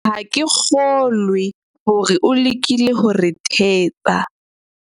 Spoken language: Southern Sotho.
ha ke kgolwe hore o lekile ho re thetsa